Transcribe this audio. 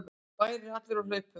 Bærinn er allur á hlaupum!